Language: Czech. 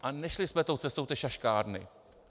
A nešli jsme tou cestou té šaškárny.